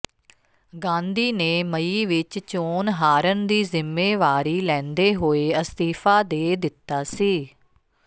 ਗਾਂਧੀ ਨੇ ਮਈ ਵਿਚ ਚੋਣ ਹਾਰਨ ਦੀ ਜ਼ਿੰਮੇਵਾਰੀ ਲੈਂਦੇ ਹੋਏ ਅਸਤੀਫਾ ਦੇ ਦਿੱਤਾ ਸੀ